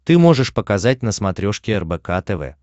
ты можешь показать на смотрешке рбк тв